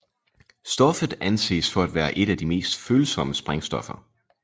Stoffet anses for at være et af de mest følsomme sprængstoffer